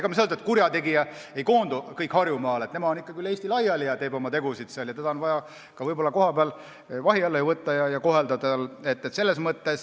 Me ei saa öelda, et kurjategijad koonduvad kõik Harjumaale, nemad on ikkagi üle Eesti laiali ja teevad seal oma tegusid ning neid on vaja ka võib-olla kohapeal vahi alla võtta.